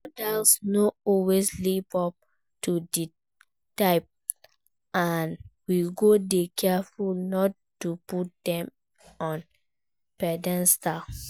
Role models no always live up to di hype and we go dey careful not to put dem on pedestal.